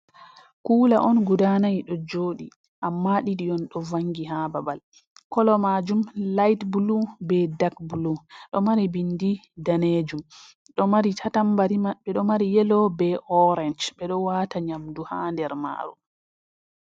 Kula on guda nai ɗo joɗi amma didi on do vangi ha babal, kolo majum light blue be dack blue ɗo mari bindi danejum tambari maɓɓe ɗo mari yelo be orange ɓeɗo wata nyamdu ha nder Majum.